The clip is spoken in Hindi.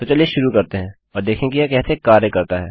तो चलिए शुरू करते हैं और देखें कि यह कैसे कार्य करता है